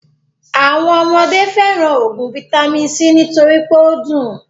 Àwọn ọmọdé fẹràn óògùn vaitami c nítorí pé o dùn.